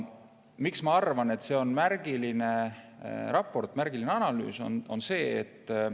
Miks ma arvan, et see on märgiline raport, märgiline analüüs?